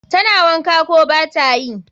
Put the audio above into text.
Tana wanka, ko batayi?